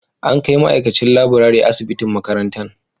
An kai ma'aikacin laburare asibitin makarantan